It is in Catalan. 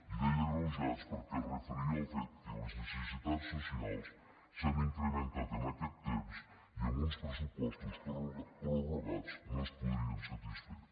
i deia agreujats perquè es referia al fet que les necessitats socials s’han incrementat en aquest temps i amb uns pressupostos prorrogats no es podrien satisfer